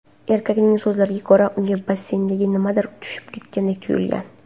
Erkakning so‘zlariga ko‘ra, unga basseynga nimadir tushib ketgandek tuyulgan.